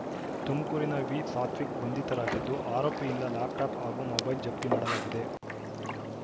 ತುಮಕೂರಿನ ವಿಸಾತ್ವಿಕ್‌ ಬಂಧಿತರಾಗಿದ್ದು ಆರೋಪಿಯಿಂದ ಲ್ಯಾಪ್‌ಟಾಪ್‌ ಹಾಗೂ ಮೊಬೈಲ್‌ ಜಪ್ತಿ ಮಾಡಲಾಗಿದೆ